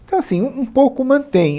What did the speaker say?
Então assim, um um pouco mantém.